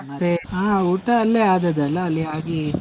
ಮತ್ತೆ ಹಾ ಊಟ ಅಲ್ಲೇ ಆದದ್ದಲ್ಲ ಅಲ್ಲಿ ಆಗಿ.